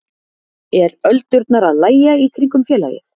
Er öldurnar að lægja í kringum félagið?